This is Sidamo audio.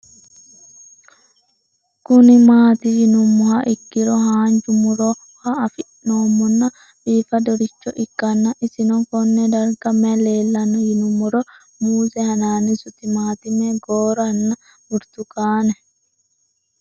Kuni mati yinumoha ikiro hanja murowa afine'mona bifadoricho ikana isino Kone darga mayi leelanno yinumaro muuze hanannisu timantime gooranna buurtukaane